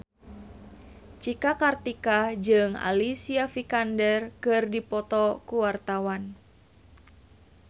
Cika Kartika jeung Alicia Vikander keur dipoto ku wartawan